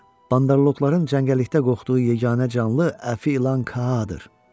Bandoloqların cəngəllikdə qorxduğu yeganə canlı Əfi ilan Kaa-dır.